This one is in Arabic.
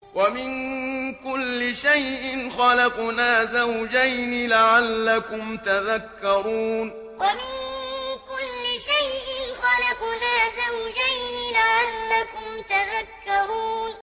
وَمِن كُلِّ شَيْءٍ خَلَقْنَا زَوْجَيْنِ لَعَلَّكُمْ تَذَكَّرُونَ وَمِن كُلِّ شَيْءٍ خَلَقْنَا زَوْجَيْنِ لَعَلَّكُمْ تَذَكَّرُونَ